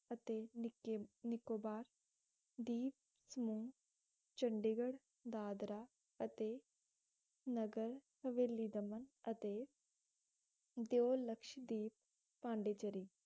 ਅਤੇ ਨਿਕੇ~ ਨਿਕੋਬਾਰ ਦੀਪ ਸਮੂਹ, ਚੰਡੀਗੜ੍ਹ, ਦਾਦਰਾ ਅਤੇ ਨਗਰ ਹਵੇਲੀਦਮਨ ਅਤੇ ਦਿਓਲਕਸ਼ਦੀਪ, ਪੋਂਡੀਚਰੀ